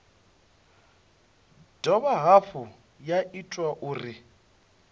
dovha hafhu ya ita uri